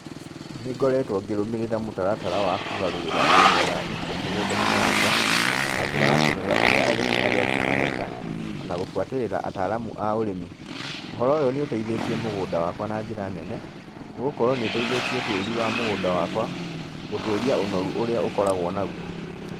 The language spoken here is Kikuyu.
Nĩngoretwo ngĩrũmĩrĩra mũtaratara wa kũgarũrĩra ũrimi wa irio mũgũnda-inĩ wakwa, na njĩra ya kũrora ũrĩa arĩmĩ arĩa angĩ mareka, ona gũbuatĩrĩra ataramu a ũrĩmi, ũhoro ũyũ nĩ ũteithĩtie mũgũnda wakwa na njĩra nene, nĩ gũkorwo nĩ ũteithĩtie tĩri wa mũgũnda wakwa, gũtũria ũnoru ũrĩa ũkoragwo naguo.